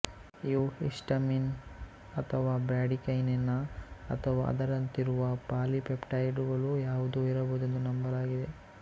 ಇವು ಹಿಸ್ಟಮಿನ್ ಅಥವಾ ಬ್ರ್ಯಾಡಿಕೈನಿನ್ ಅಥವಾ ಅದರಂತಿರುವ ಪಾಲಿಪೆಪ್ಟೈಡುಗಳು ಯಾವುವೋ ಇರಬಹುದೆಂದು ನಂಬಲಾಗಿದೆ